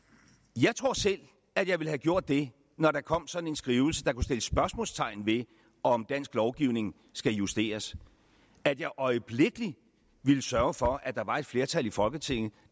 jeg tror selv at jeg ville have gjort det når der kom sådan en skrivelse der kunne sætte spørgsmålstegn ved om dansk lovgivning skulle justeres at jeg øjeblikkelig ville sørge for at der var et flertal i folketinget